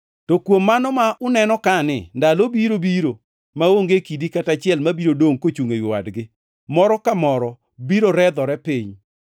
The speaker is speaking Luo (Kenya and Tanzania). “To kuom mano ma uneno kani, ndalo biro biro maonge kidi kata achiel mabiro dongʼ kochungʼ ewi wadgi, moro ka moro biro redhore piny.”